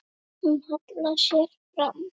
Hún hallar sér fram.